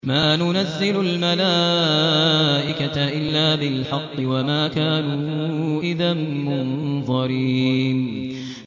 مَا نُنَزِّلُ الْمَلَائِكَةَ إِلَّا بِالْحَقِّ وَمَا كَانُوا إِذًا مُّنظَرِينَ